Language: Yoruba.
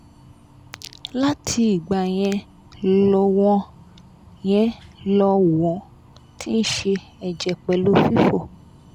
láti ìgbà yẹn lọ won yẹn lọ won ti n se ẹ̀jẹ̀ pelu fifò